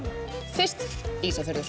fyrst Ísafjörður